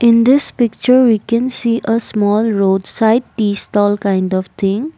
in this picture we can see a small roadside tea stall kind of thing.